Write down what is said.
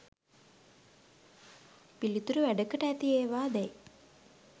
පිළිතුරු වැඩකට ඇති ඒවා දැයි